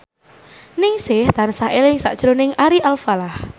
Ningsih tansah eling sakjroning Ari Alfalah